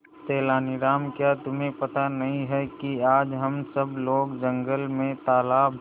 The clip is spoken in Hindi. तेनालीराम क्या तुम्हें पता नहीं है कि आज हम सब लोग जंगल में तालाब